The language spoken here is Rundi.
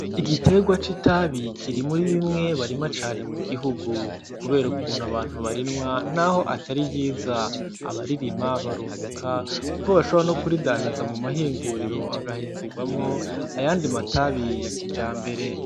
Igitegwa c'itabi kiri muri bimwe barima cane mugihugu kubera ukuntu abantu barinwa naho atari ryiza abaririma barunguka kuko bashobora no kuridandaza mumahinguriro agahingugwamwo ayandi matabi ya kijambere.